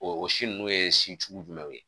O si nunnu ye si sugu jumɛnw ye